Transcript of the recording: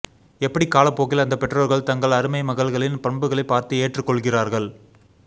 எப்படி காலப்போக்கில் அந்த பெற்றோர்கள் தங்கள் அருமை மகள்களின் பண்புகளை பார்த்து ஏற்றுக் கொள்கிறார்கள்